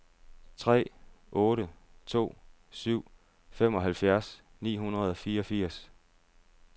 tre otte to syv femoghalvfjerds ni hundrede og fireogfirs